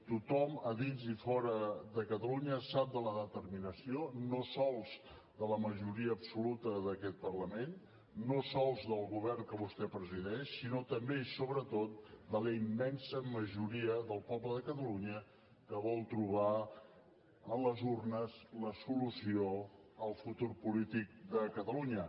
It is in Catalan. tothom a dins i fora de catalunya sap de la determinació no sols de la majoria absoluta d’aquest parlament no sols del govern que vostè presideix sinó també i sobretot de la immensa majoria del poble de catalunya que vol trobar en les urnes la solució al futur polític de catalunya